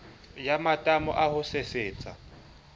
ya matamo a ho sesetsa